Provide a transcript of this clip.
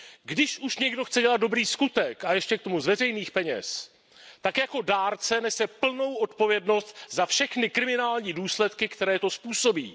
Když už chce někdo dělat dobrý skutek a ještě k tomu z veřejných peněz, tak jako dárce nese plnou odpovědnost za všechny kriminální důsledky, které to způsobí.